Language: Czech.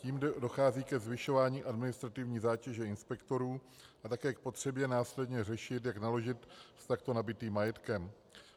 Tím dochází ke zvyšování administrativní zátěže inspektorů a také k potřebě následně řešit, jak naložit s takto nabytým majetkem.